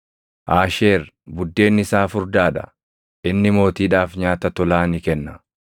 “Aasheer buddeenni isaa furdaa dha; inni mootiidhaaf nyaata tolaa ni kenna.